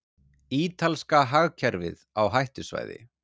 Ítalska hagkerfið á hættusvæði